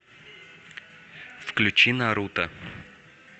включи наруто